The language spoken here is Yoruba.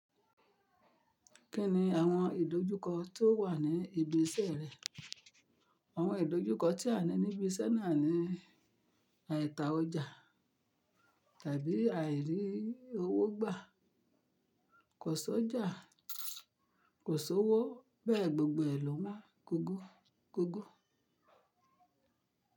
Kí ni àwọn ìdojúkọ tó wà ní ibi iṣẹ́ rẹ? Àwọn ìdojúkọ tí a ní níbi iṣẹ́ náà ni àìta ọjà tàbí àìrí owó gbà. Kò sọ́jà, kò sí owó bẹ́ẹ̀ gbogbo ẹ lowan kogo kogo.